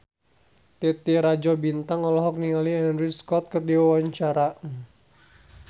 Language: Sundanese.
Titi Rajo Bintang olohok ningali Andrew Scott keur diwawancara